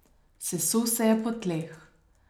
Sesul sem se po tleh.